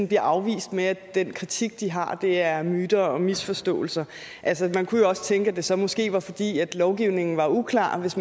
bliver afvist med at den kritik de har er myter og misforståelser altså man kunne jo også tænke at det så måske var fordi lovgivningen var uklar hvis